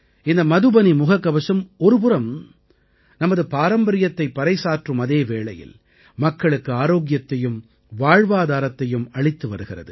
இந்த மதுபனி முகக்கவசம் ஒருபுறம் நமது பாரம்பரியத்தைப் பறைசாற்றும் அதே வேளையில் மக்களுக்கு ஆரோக்கியத்தையும் வாழ்வாதாரத்தையும் அளித்து வருகிறது